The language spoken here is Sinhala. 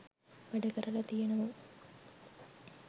වැඩ කරලා තියෙනවා